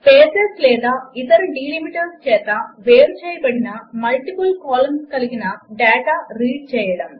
spaces లేదా ఇతర delimiters చేత వేరు చేయబడిన మల్టిపుల్ కాలమ్స్ కలిగిన డాటా రీడ్ చేయడం